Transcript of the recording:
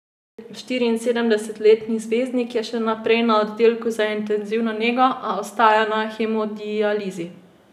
Štiriinsedemdesetletni zvezdnik je še naprej na oddelku za intenzivno nego, a ostaja na hemodializi.